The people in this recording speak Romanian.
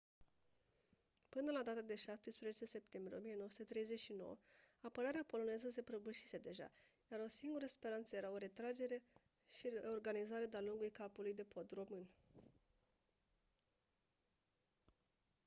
până la data de 17 septembrie 1939 apărarea poloneză se prăbușise deja iar singura speranță era o retragere și reorganizare de-a lungul capului de pod român